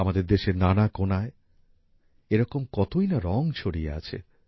আমাদের দেশের নানা কোনায় এরকম কতইনা রঙ ছড়িয়ে আছে